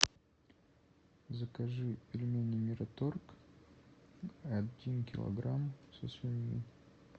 закажи пельмени мираторг один килограмм со свининой